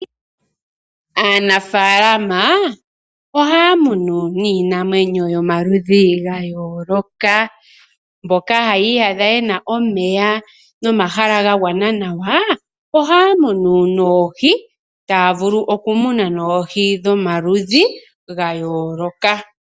Aanafalama ohaya munu niinamwenyo yomaludhi ga yooloka. Mboka haya iyadha yena omeya nomahala ga gwana nawa ohaya munu noohi taya vulu oku muna noohi dho maludhi ga yooloka.